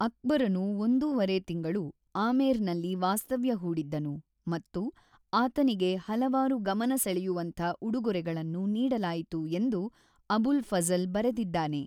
ಅಕ್ಬರನು ಒಂದೂವರೆ ತಿಂಗಳು ಆಮೇರ್‌ನಲ್ಲಿ ವಾಸ್ತವ್ಯ ಹೂಡಿದ್ದನು ಮತ್ತು ಆತನಿಗೆ ಹಲವಾರು ಗಮನ ಸೆಳೆಯುವಂಥ ಉಡುಗೊರೆಗಳನ್ನು ನೀಡಲಾಯಿತು ಎಂದು ಅಬುಲ್ ಫಝಲ್ ಬರೆದಿದ್ದಾನೆ.